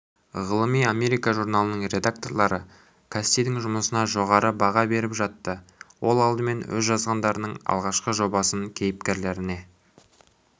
ғылыми америка журналының редакторлары кассидің жұмысына жоғары баға беріп жатты ол алдымен өз жазғандарының алғашқы жобасын кейіпкерлеріне